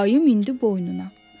Ayı mindi boynuna.